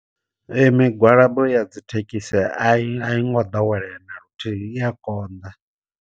Ee migwalabo ya dzithekhisi a i ngo ḓowelea naluthihi i ya konḓa.